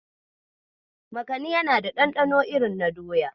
Makani ya na da ɗanɗano irin na doya.